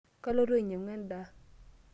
Kaloito ainyang'u endaa.